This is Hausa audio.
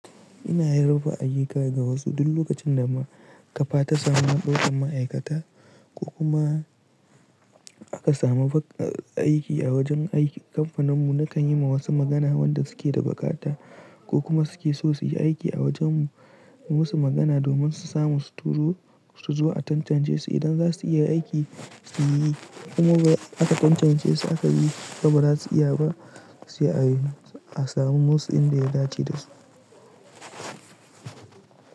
Ina yin raba ayuka ga wasu duk lokacin da ma kafa ta samu haɓaƙar ma'aikata ko kuma aka samu aiki a wajen aiki. Kamfaninmu na kan yi ma wasu magana wanda suke da baƙata ko kuma suke so su yi aiki a wajenmu, yi musu magana domin su samu su turo su zuwa a tantance su. Idan za su iya aiki suyi, kuma ba aka tantance su aka yi ba, ba za su iya ba su a yi, a samu musu inda ya dace da su.